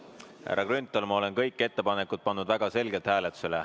Härra Grünthal, ma olen kõik ettepanekud väga selgelt hääletusele pannud.